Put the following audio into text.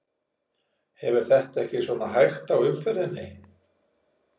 Hefur þetta ekki svona hægt á umferðinni?